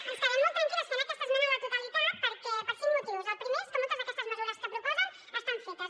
i ens quedem molt tranquil·les fent aquesta esmena a la totalitat per cinc motius el primer és que moltes d’aquestes mesures que proposen estan fetes